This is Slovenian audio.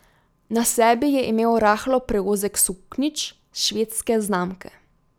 Na sebi je imel rahlo preozek suknjič švedske znamke.